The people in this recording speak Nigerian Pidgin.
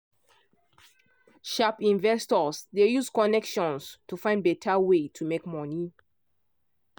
sharp investors dey use connections to find better way to make money